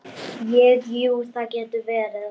Ég, jú, það getur verið.